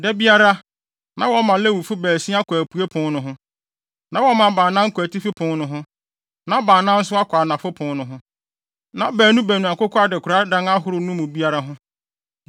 Da biara, na wɔma Lewifo baasia kɔ apuei pon no ho, na wɔma baanan kɔ atifi pon no ho, na baanan nso akɔ anafo pon no ho, na baanu baanu akokɔ adekoradan ahorow no mu biara ho.